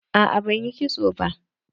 A'a ba zan yi kitso ba.